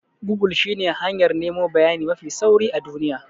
Gogul shine hanyar nemo bayani mafi sauri a duniya.